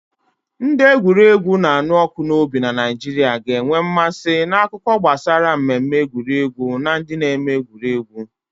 Ndị egwuregwu na-anụ ọkụ n'obi na Naịjirịa ga na-enwe mmasị na akụkọ gbasara mmemme egwuregwu na ndị na-eme egwuregwu.